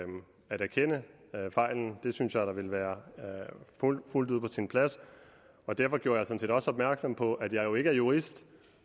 erkende fejlen det synes jeg da ville være fuldt ud på sin plads og derfor gjorde jeg sådan set også opmærksom på at jeg jo ikke er jurist